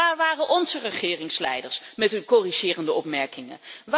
Waar waren onze regeringsleiders met hun corrigerende opmerkingen?